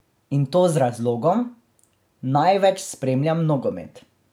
In to z razlogom: "Največ spremljam nogomet.